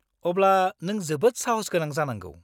-अब्ला नों जोबोद साहसगोनां जानांगौ!